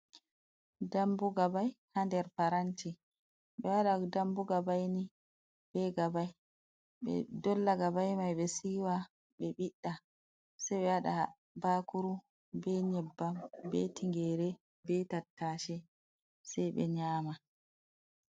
Dambu gabai haa der paranti. Ɓe waɗan dambu gabaini be gabai, ɓe dolla gabai mai, ɓe siwa, ɓe ɓidda sai ɓe waɗa bakuru, be nyebbam, be tingere, be tattashi sai ɓe nyama.